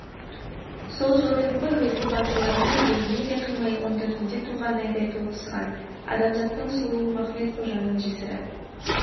сол жолы еді ғой өзге батырларымның біреуіне де қимай он төртінде туған айдай толықсыған адамзаттың сұлуы махмед-қожаның жесірі